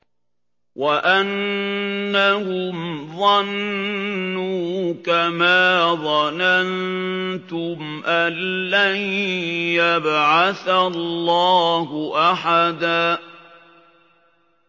وَأَنَّهُمْ ظَنُّوا كَمَا ظَنَنتُمْ أَن لَّن يَبْعَثَ اللَّهُ أَحَدًا